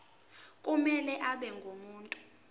kumele abe ngumuntu